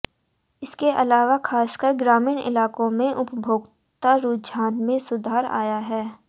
इसके अलावा खासकर ग्रामीण इलाकों में उपभोक्ता रुझान में सुधर आया है